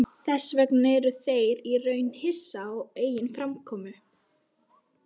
Sjaldan hafði hann átt kaldari nótt.